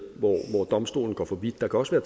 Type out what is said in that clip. hvor domstolen går for vidt der kan også være